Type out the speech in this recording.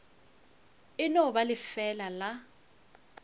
e no ba lefeela la